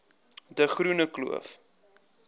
de groene kloof